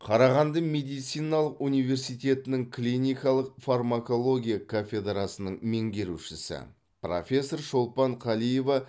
қарағанды медициналық университетінің клиникалық фармакология кафедрасының меңгерушісі профессор шолпан қалиева